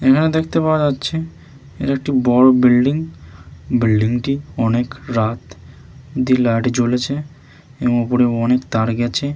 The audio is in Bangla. এখানে দেখতে পাওয়া যাচ্ছে এটা একটি বড়ো বিল্ডিং । বিল্ডিং টি অনেক রাত অব্দি লাইট জ্বলেছে এবং ওপরে অনেক তার গেছে।